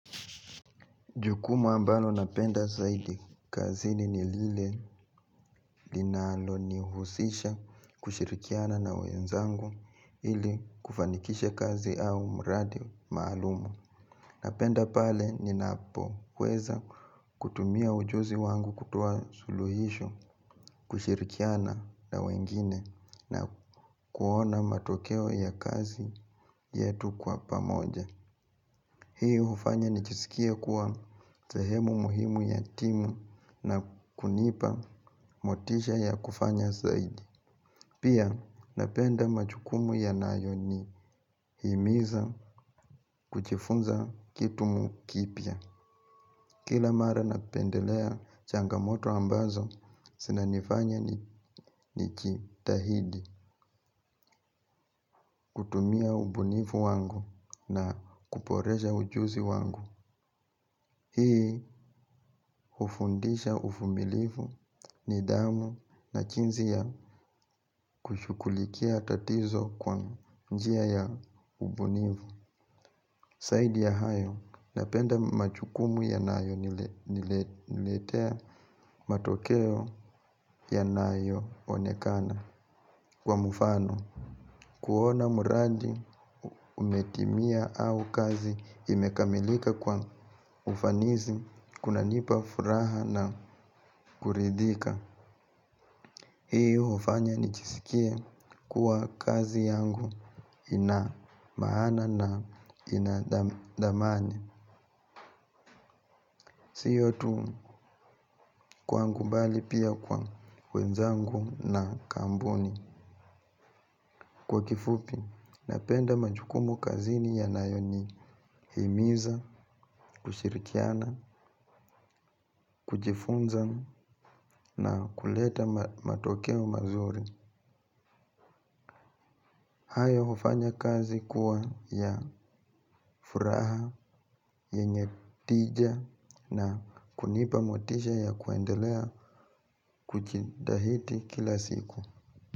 Jukumu ambalo napenda zaidi kazini ni lile linalonihusisha kushirikiana na wenzangu ili kufanikisha kazi au mradi maalum. Napenda pale ninapoweza kutumia ujuzi wangu kutoa suluhisho, kushirikiana na wengine na kuona matokeo ya kazi yetu kwa pamoja. Hii hufanya nijisikie kuwa sehemu muhimu ya timu na kunipa motisha ya kufanya zaidi. Pia napenda majukumu yanayonihimiza kujifunza kitu kipya. Kila mara napendelea changamoto ambazo zinanifanya nijitahidi kutumia ubunifu wangu na kuboresha ujuzi wangu. Hii hufundisha uvumilivu nidhamu na jinsi ya kushughulikia tatizo kwa njia ya ubunifu. Zaidi ya hayo napenda majukumu yanayoniletea matokeo yanayoonekana, kwa mfano kuona uradi umetimia au kazi imekamilika kwa ufanisi kunanipa furaha na kuridhika. Hii hufanya nijisikie kuwa kazi yangu ina maana na ina thamani. Siyo tu kwangu bali pia kwa wenzangu na kampuni. Kwa kifupi, napenda majukumu kazini yanayonihimiza, kushirikiana, kujifunza na kuleta matokeo mazuri. Hayo hufanya kazi kuwa ya furaha, yenye tija na kunipa motisha ya kuendelea kujitahidi kila siku.